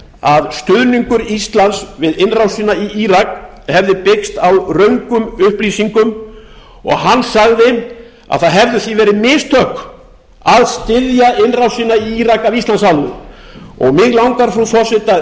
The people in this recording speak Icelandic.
að stuðningur íslands við innrásina í írak hefði byggst á röngum upplýsingum og að það hefðu því verið mistök af íslands hálfu að styðja innrásina í írak mig langar frú